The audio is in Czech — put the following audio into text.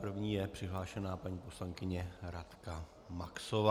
První je přihlášena paní poslankyně Radka Maxová.